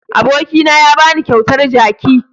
Abokina ya ba ni kyautar jaki.